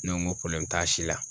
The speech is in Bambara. Ne ko n ko t'a si la